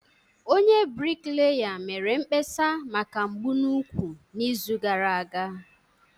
Onye bricklayer mere mkpesa maka mgbu n'úkwù n'izu gara aga